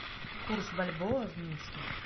курс бальбоа в минске